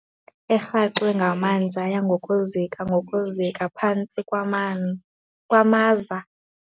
Erhaxwe ngamanzi yaya ngokuzika ngokuzika phantsi kwamaza.